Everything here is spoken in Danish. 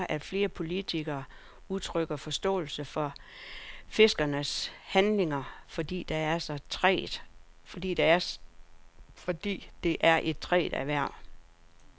En af grundene er, at flere politikere udtrykker forståelse for fiskernes handlinger, fordi det er et trængt erhverv.